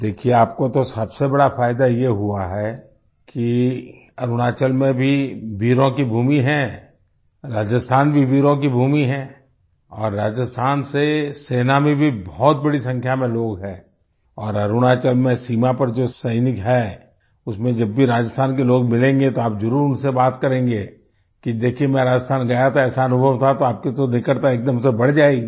देखिये आपको तो सबसे बड़ा फायदा ये हुआ है कि अरुणाचल में भी वीरों की भूमि है राजस्थान भी वीरों की भूमि है और राजस्थान से सेना में भी बहुत बड़ी संख्या में लोग हैं और अरुणाचल में सीमा पर जो सैनिक हैं उसमें जब भी राजस्थान के लोग मिलेंगे तो आप जरुर उनसे बात करेंगे कि देखियेमैं राजस्थान गया था ऐसा अनुभव था तो आपकी तो निकटता एकदम से बढ़ जाएगी